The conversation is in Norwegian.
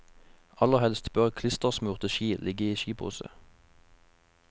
Aller helst bør klistersmurte ski ligge i skipose.